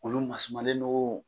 Olu masumalen don